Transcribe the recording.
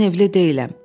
Mən evli deyiləm.